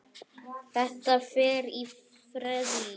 Þetta er í ferli.